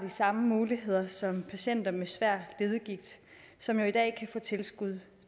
de samme muligheder som patienter med svær leddegigt som jo i dag kan få tilskud